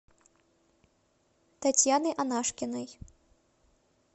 татьяны анашкиной